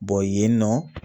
yen nɔ